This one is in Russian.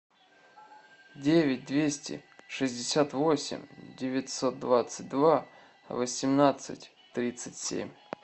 девять двести шестьдесят восемь девятьсот двадцать два восемнадцать тридцать семь